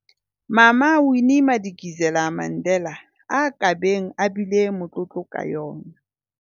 Mama Winnie Madikizela-Mandela a ka beng a bile motlotlo ka yona.